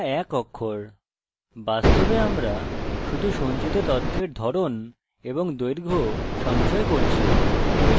বাস্তবে আমরা শুধু সঞ্চিত তথ্যের ধরন এবং দৈর্ঘ্য সঞ্চয় করছি